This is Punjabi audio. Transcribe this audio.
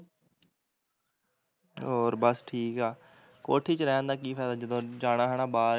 ਹੋਰ ਬਸ ਠੀਕ ਆ ਕੋਠੀ ਚ ਰਹਿਣ ਦਾ ਕੀ ਫ਼ੈਦਾ ਜਦੋਂ ਜਾਣਾ ਹੈਨਾ ਬਾਹਰ ਐ ਤੇ